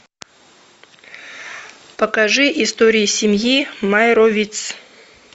покажи истории семьи майровиц